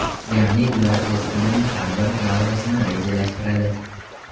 Ya’ni ular o‘z kunining har bir lahzasini rejalashtiradi.